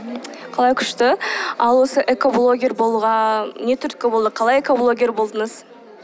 қалай күшті ал осы экоблогер болуға не түрткі болды қалай экоблогер болдыңыз